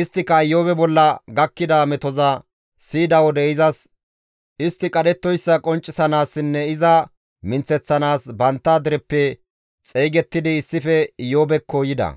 Isttika Iyoobe bolla gakkida metoza siyida wode izas istti qadhettoyssa qonccisanaassinne iza minththeththanaas bantta dereppe xeygettidi issife Iyoobekko yida.